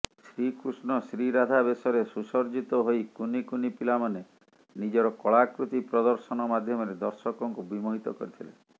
ଶ୍ରୀକୃଷ୍ଣ ଶ୍ରୀରାଧା ବେଶରେ ସୁସଜ୍ଜିତ ହୋଇ କୁନିକୁନି ପିଲାମାନେ ନିଜର କଳାକୃତି ପ୍ରଦର୍ଶନ ମାଧ୍ୟମରେ ଦର୍ଶକଙ୍କୁ ବିମୋହିତ କରିଥିଲେ